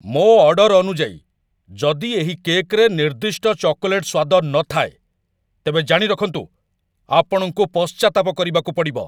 ମୋ ଅର୍ଡର ଅନୁଯାୟୀ ଯଦି ଏହି କେକ୍‌‌ରେ ନିର୍ଦ୍ଦିଷ୍ଟ ଚକୋଲେଟ୍‌ ସ୍ୱାଦ ନଥାଏ, ତେବେ ଜାଣିରଖନ୍ତୁ, ଆପଣଙ୍କୁ ପଶ୍ଚାତ୍ତାପ ପରିବାକୁ ପଡ଼ିବ!